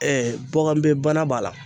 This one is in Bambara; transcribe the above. bɔkanbɛ bana b'a la.